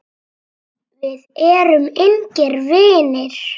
Við erum engir vinir.